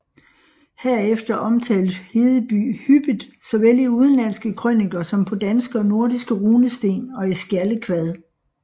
Herefter omtales Hedeby hyppigt såvel i udenlandske krøniker som på danske og nordiske runesten og i skjaldekvad